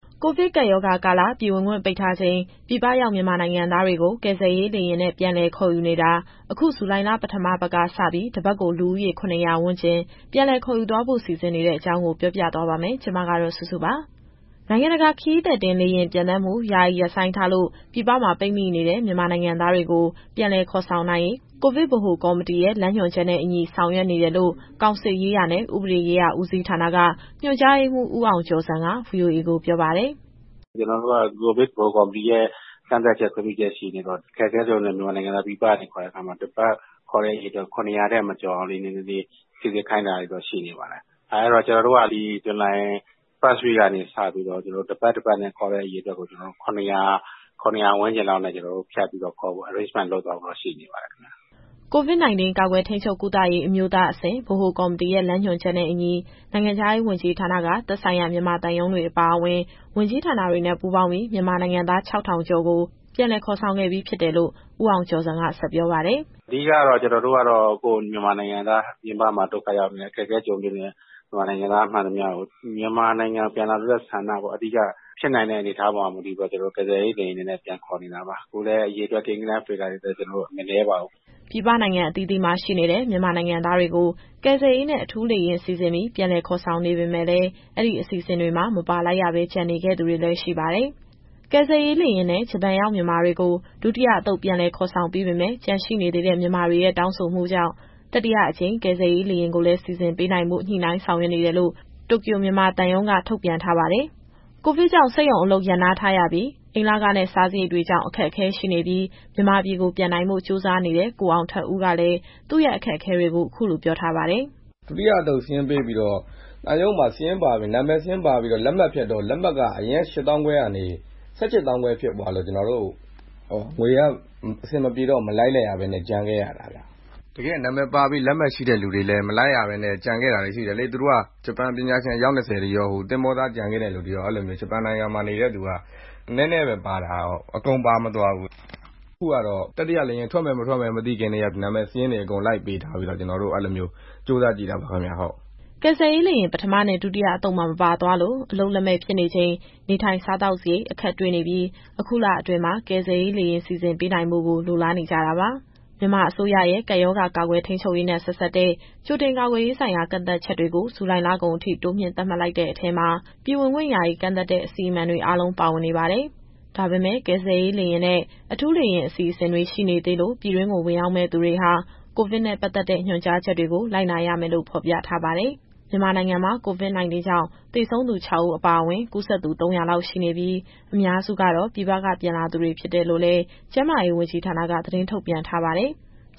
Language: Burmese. ကိုဗစ်ကပ်ရောဂါကာလ ပြည်ဝင်ခွင့်ပိတ်ထားချိန် ပြည်ပရောက်မြန်မာနိုင်ငံသားတွေကို ကယ်ဆယ်ရေးလေယာဉ်နဲ့ ပြန်လည်ခေါ်ယူနေတာ အခုဇူလိုင်လ ပထမပတ်ကစပြီး တပတ်ကို လူဦးရေ ၇၀၀ ဝန်းကျင် ပြန်လည်ခေါ်ယူသွားဖို့ စီစဉ်နေတဲ့အကြောင်းကို ဗွီအိုအေမြန်မာပိုင်း သတင်းထောက်စုစုက ပြောပြသွားမှာပါ။ နိုင်ငံတကာခရီးသည်တင် လေယာဉ်ပျံသန်းမှု ယာယီရပ်ဆိုင်းထားလို့ ပြည်ပမှာပိတ်မိနေတဲ့ မြန်မာနိုင်ငံသားတွေကို ပြန်လည်ခေါ်ဆောင်နိုင်ရေး ကိုဗစ်ဗဟိုကော်မတီရဲ့ လမ်းညွှန်ချက်နဲ့အညီ ဆောင်ရွက်နေတယ်လို့ ကောင်စစ်ရေးရာနဲ့ ဥပဒေရေးရာဦးစီးဌာနက ညွှန်ကြားရေးမှူး ဦးအောင်ကျော်ဇံက VOA ကိုပြောပါတယ်။ “ကျနော်တို့က ကိုဗစ်ဗဟိုကော်မတီရဲ့ ကန့်သတ်ချက် ခွင့်ပြုချက်ရှိနေတော့ အခက်အခဲကြုံနေတဲ့ မြန်မာနိုင်ငံသား ပြည်ပကနေခေါ်တဲ့အခါမှာ တပတ်ခေါ်တဲ့အရေအတွက် ၇၀၀ ထက်မကျော်အောင် နည်းနည်းလေးစိစစ်ခိုင်းနေတာတော့ ရှိနေပါတယ်။ အဲတော့ ကျနော်တို့က ဒီဇူလိုင် ပထမပတ်ကနေစပြီးတော့ တပတ်ခေါ်တဲ့အရေအတွက်ကို ၇၀၀ ဝန်းကျင်လောက်နဲ့ ဖြတ်ပြီးတော့ ခေါ်ဖို့စီစဉ်သွားဖို့ ရှိနေပါတယ်ခင်ဗျ။” COVID - 19 ကာကွယ်၊ ထိန်းချုပ်၊ ကုသရေး အမျိုးသားအဆင့် ဗဟိုကော်မတီရဲ့ လမ်းညွှန်ချက်နဲ့အညီ နိုင်ငံခြားရေးဝန်ကြီးဌာနက သက်ဆိုင်ရာမြန်မာသံရုံးတွေအပါအဝင် ဝန်ကြီးဌာနတွေနဲ့ ပူးပေါင်းပြီး မြန်မာနိုင်ငံသား ၆,၄၇၆ ဦးကို ပြန်လည်ခေါ်ဆောင်ပေးခဲ့ပြီလို့ ဦးအောင်ကျော်ဇံက ဆက်ပြောပါတယ်။ “အဓိကကတော့ ကျနော်တို့က ကိုယ့်မြန်မာနိုင်ငံသား ပြင်ပမှာ ဒုက္ခရောက်နေတယ်၊ အခက်အခဲကြုံတွေ့နေတဲ့ မြန်မာနိုင်ငံသားမှန်သမျှကို မြန်မာနိုင်ငံကို ပြန်လာလိုတဲ့ ဆန္ဒပေါ့။ ဖြစ်နိုင်တဲ့အနေအထားပေါ်မှာ မူတည်ပြီးတော့ ကျနော်တို့ ကယ်ဆယ်ရေး လေယာဉ်တွေနဲ့ပြန်ခေါ်နေတာပါ။ အခုလည်း အရေအတွက် ကိန်းဂဏန်းတွေလည်း မနည်းပါဘူး။” ပြည်ပနိုင်ငံအသီးအသီးမှာ ရှိနေတဲ့ မြန်မာနိုင်ငံသားတွေကို ကယ်ဆယ်ရေးနဲ့ အထူးလေယာဉ်စီစဉ်ပြီး ပြန်လည်ခေါ်ဆောင်နေပေမယ့်လည်း အဲဒီအစီအစဉ်တွေမှာ မပါလိုက်ရဘဲ ကျန်နေခဲ့သူတွေလည်း ရှိပါတယ်။ ကယ်ဆယ်ရေးလေယာဉ်နဲ့ ဂျပန်ရောက်မြန်မာတွေကို ဒုတိယအသုတ်ပြန်လည်ခေါ်ဆောင်ပြီးပေမယ့် ကျန်ရှိနေသေးတဲ့ မြန်မာတွေရဲ့တောင်းဆိုမှုကြောင့် တတိယအကြိမ် ကယ်ဆယ်ရေးလေယာဉ်ကိုလည်း စီစဉ်ပေးနိုင်ဖို့ ညှိနှိုင်းဆောင်ရွက်နေတယ်လို့ တိုကျို၊ မြန်မာသံရုံးက ထုတ်ပြန်ထားပါတယ်။ ကိုဗစ်ကြောင့် စက်ရုံအလုပ်နားထားရပြီး အိမ်လခနဲ့ စားစရိတ်တွေကြောင့် အခက်အခဲရှိနေပြီး မြန်မာပြည်ကိုပြန်နိုင်ဖို့ ကြိုးစားနေတဲ့ ကိုအောင်ထက်ဦးကလည်း သူ့ရဲ့အခက်အခဲတွေကို အခုလိုပြောထားပါတယ်။ “ဒုတိယအသုတ်စာရင်းပေးပြီးတော့ သံရုံးမှာ နာမည်စာရင်းပါပြီးတော့ လေယာဉ်လက်မှတ်ဖြတ်တော့ အရင်က ၈၅,၀၀၀ ကနေ ၁၈၅,၀၀၀ ဖြစ်သွားလို့ ငွေက အဆင်မပြေတော့ မလိုက်လိုက်ရဘဲနဲ့ ကျန်ခဲ့ရတာဗျ။ တကယ်က နာမည်ပါပြီး လက်မှတ်ရှိတဲ့သူတွေလည်း မလိုက်ရဘဲနဲ့ ကျန်ခဲ့တာတွေ ရှိတယ်လေ။ သူတို့က ဂျပန်ပညာရှင် အယောက် ၂၀ ရော၊ သင်္ဘောသားကျန်ခဲ့တဲ့သူတွေရော၊ အဲလိုဆိုတော့ ဂျပန်နိုင်ငံမှာနေတဲ့သူက နည်းနည်းပဲပါတာ။ အကုန်ပါမသွားဘူး။ အခုကတော့ တတိယလေယာဉ်ထွက်မယ် မထွက်မယ် မသိခင်ကတည်းက နာမည်စာရင်းတွေ အကုန်လိုက်ပေးထားပြီး ကြိုးစားကြည့်တာပါခင်ဗျ။” ကယ်ဆယ်ရေးလေယာဉ် ပထမနဲ့ ဒုတိယအသုတ်မှာ မပါသွားလို့ အလုပ်လက်မဲ့ဖြစ်နေချိန် နေထိုင်စားသောက်စရိတ် အခက်တွေ့နေပြီး အခုလအတွင်းမှာ ကယ်ဆယ်ရေးလေယာဉ်စီစဉ်ပေးနိုင်ဖို့ကို လိုလားနေကြတာပါ။ မြန်မာအစိုးရရဲ့ ကပ်ရောဂါ ကာကွယ်ထိန်းချုပ်ရေးနဲ့ ဆက်စပ်တဲ့ ကြိုတင်ကာကွယ်ရေးဆိုင်ရာ ကန့်သတ်ချက်တွေကို ဇူလိုင်လကုန်ထိ တိုးမြှင့်သတ်မှတ်တဲ့အထဲမှာ ပြည်ဝင်ခွင့်ယာယီကန့်သတ်တဲ့ အစီအမံတွေအားလုံး ပါဝင်နေပါတယ်။ ဒါပေမဲ့ ကယ်ဆယ်ရေးလေယာဉ်နဲ့ အထူးလေယာဉ်အစီအစဉ်တွေ ရှိနေသေးလို့ ပြည်တွင်းကို ဝင်ရောက်မယ့်သူတွေဟာ ကိုဗစ်နဲ့ ပတ်သက်တဲ့ညွှန်ကြားချက်တွေကို လိုက်နာရမယ်လို့ ဖော်ပြထားပါတယ်။ မြန်မာနိုင်ငံမှာ COVID - 19 ကြောင့် သေဆုံးသူ ၆ ဦးအပါအဝင် ကူးစက်သူ ၃၀၀ လောက် ရှိနေပြီး အများစုကတော့ ပြည်ပက ပြန်လာသူတွေ ဖြစ်တယ်လို့လည်း ကျန်းမာရေးဝန်ကြီးဌာနက သတင်းထုတ်ပြန်ထားပါတယ်။